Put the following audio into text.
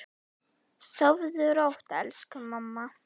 Sofðu rótt, elsku mamma.